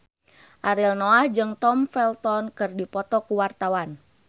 Ariel Noah jeung Tom Felton keur dipoto ku wartawan